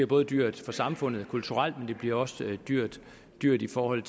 bare dyrt for samfundet kulturelt men det bliver også dyrt dyrt i forhold